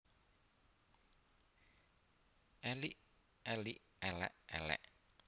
Elik elik élék élék